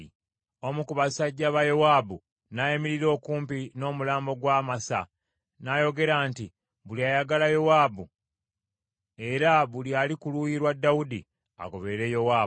Omu ku basajja ba Yowaabu n’ayimirira okumpi n’omulambo gwa Amasa n’ayogera nti, “Buli ayagala Yowaabu, era buli ali ku luuyi lwa Dawudi, agoberere Yowaabu.”